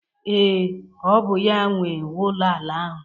Ee, ọ bụ ya nwe ụlọ ala ahụ.